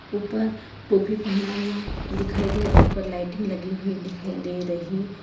ऊपर टोपी पहना हुआ दिखाई दे ऊपर लाइटिंग लगी हुई दिखाई दे रही।